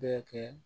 Bɛɛ kɛ